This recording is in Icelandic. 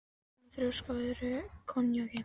Alma þrjósk á öðrum í konjaki.